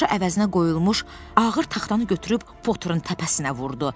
Başdaşı əvəzinə qoyulmuş ağır taxtanı götürüb Poturun təpəsinə vurdu.